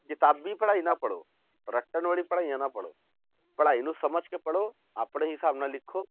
ਕਿਤਾਬੀ ਪੜ੍ਹਾਈ ਨਾ ਪੜ੍ਹੋ, ਰੱਟਣ ਵਾਲੀ ਪੜ੍ਹਾਈਆਂ ਨਾ ਪੜ੍ਹੋ, ਪੜ੍ਹਾਈ ਨੂੰ ਸਮਝ ਕੇ ਪੜ੍ਹੋ ਆਪਣੇ ਹਿਸਾਬ ਨਾਲ ਲਿਖੋ